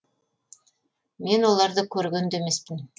мен оларды көрген де емеспін